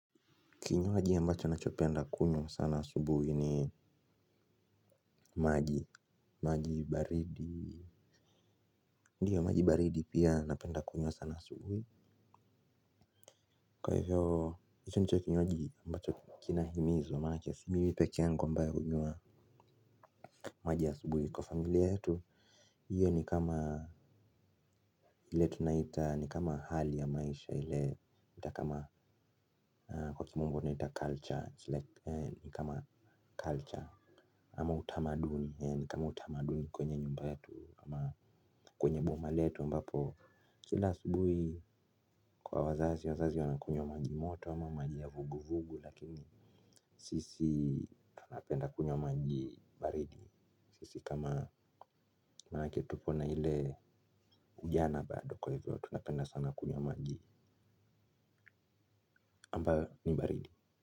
Kinywaji ambacho nachopenda kunywa sana asubuhi ni maji. Maji baridi, ndio maji baridi pia napenda kunywa sana asubuhi. Kwa hivyo hicho ndicho kinywaji ambacho kinahimizwa maanake si mimi pekee yangu ambaye hunywa maji asubuhi kwa familia yetu. Hiyo ni kama ile tunaita ni kama hali ya maisha ile hata kama kwa kimombo tunaita culture ni kama culture ama utamaduni kwenye nyumba yetu ama kwenye boma letu ambapo kila asubuhi kwa wazazi, wazazi wanakunywa maji moto ama maji ya vugu vugu lakini sisi tunapenda kunywa maji baridi sisi kama maanake tupo na ile ujana bado kwa hivyo tunapenda sana kunywa maji ambayo ni baridi.